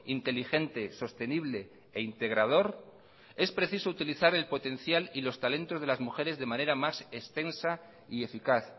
inteligente sostenible e integrador es preciso utilizar el potencial y los talentos de las mujeres de manera más extensa y eficaz